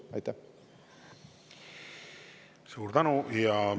Suur tänu!